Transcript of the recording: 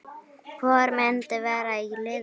Hvor myndi vera í liðinu?